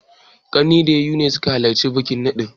Ƙanne da yayu ne suka halarci taron naɗin.